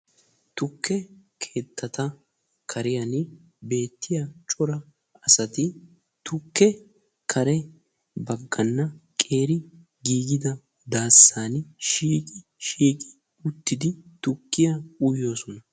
Tukke keettata kariyaan beettiyaa cora asati tukke kare bakkana qeeri giigida daassan shiiqi shiiqi uttidi tukkiyaa uyoosona.